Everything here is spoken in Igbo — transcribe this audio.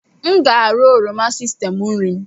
M ga-ara oroma sistemu nri m.